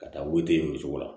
Ka taa weele o cogo la